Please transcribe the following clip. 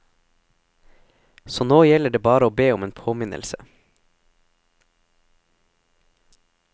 Så nå gjelder det bare å be om en påminnelse.